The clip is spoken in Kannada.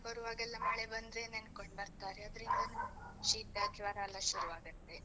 ಬರುವಾಗೆಲ್ಲ ಮಳೆ ಬಂದ್ರೆ ನೆನ್ಕೊಂಡ್ ಬರ್ತಾರೆ, ಅದ್ರಿಂದನು ಶೀತ ಜ್ವರ ಎಲ್ಲ ಶುರ್ವಾಗತ್ತೆ.